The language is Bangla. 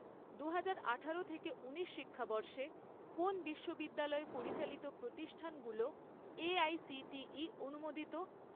দুহাজার আঠারো থেকে ঊনিশ শিক্ষাবর্ষে, কোন বিশ্ববিদ্যালয় পরিচালিত প্রতিষ্ঠানগুলো এআইসিটিই অনুমোদিত?